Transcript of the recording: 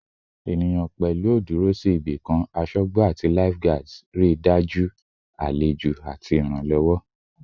Eniyan, pẹlu o duro si ibikan asogbo ati lifeguards, rii daju alejo alejo ati iranlowo